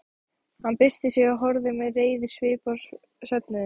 Hann byrsti sig og horfði með reiðisvip á söfnuðinn.